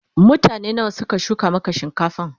mutane nawa Suka shuka Maka shinkafan?